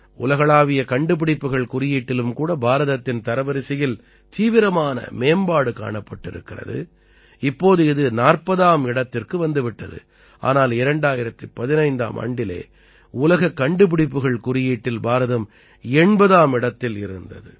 உலகளாவிய கண்டுபிடிப்புக்கள் குறியீட்டிலும் கூட பாரதத்தின் தரவரிசையில் தீவிரமான மேம்பாடு காணப்பட்டிருக்கிறது இப்போது அது 40ஆம் இடத்திற்கு வந்து விட்டது ஆனால் 2015ஆம் ஆண்டிலே உலகக் கண்டுபிடிப்புகள் குறியீட்டில் பாரதம் 80ஆம் இடத்தில் இருந்தது